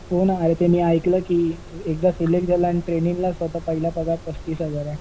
हो ना यार ते मी ऐकलं की एकदा सिलेक्ट झाला आणि ट्रेनिंगला पहिला पगार पस्तीस हजार आहे.